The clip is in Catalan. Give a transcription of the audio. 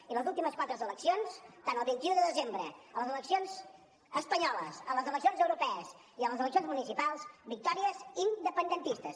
i en les últimes quatre eleccions tant el vint un de desembre com a les eleccions espanyoles a les eleccions europees i a les eleccions municipals victòries independentistes